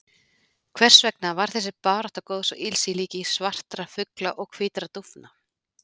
Hvers vegna var þessi barátta góðs og ills í líki svartra fugla og hvítra dúfna?